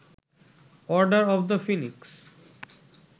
order of the Phoenix